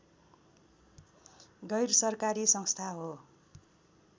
गैरसरकारी संस्था हो